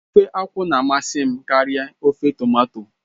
Ofe akwụ na-amasị m karịa ofe tomato